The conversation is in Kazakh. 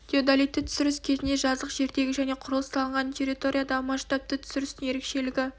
теодолиттік түсіріс кезінде жазық жердегі және құрылыс салынған территориядағы масштабты түсірістің ерекшелігі